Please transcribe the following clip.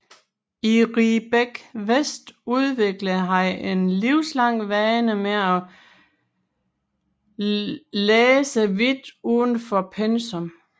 I Riebeek West udviklede han en livslang vane med at læse vidt uden for pensum